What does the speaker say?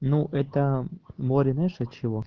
ну это море знаешь от чего